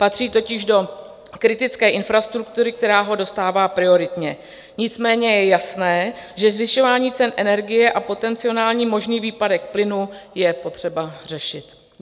Patří totiž do kritické infrastruktury, která ho dostává prioritně, nicméně je jasné, že zvyšování cen energie a potenciální možný výpadek plynu je potřeba řešit.